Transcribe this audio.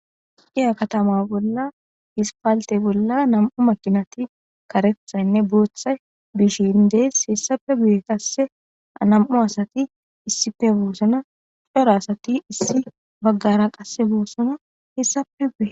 Dya katama bolla dispaalte bolla nam'u makinati karethaynne bootha bishin dees hessafe guye kasse anam'u asati issife buossana cora asati issi baggara qasse buosana hessape guye.